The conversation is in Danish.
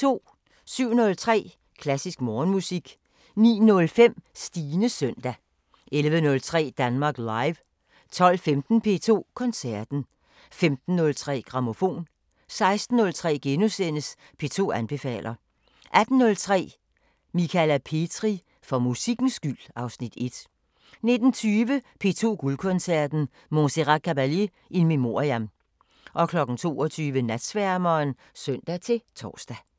07:03: Klassisk Morgenmusik 09:05: Stines søndag 11:03: Danmark Live 12:15: P2 Koncerten 15:03: Grammofon 16:03: P2 anbefaler * 18:03: Michala Petri: For musikkens skyld (Afs. 1) 19:20: P2 Guldkoncerten: Montserrat Caballé in memoriam 22:00: Natsværmeren (søn-tor)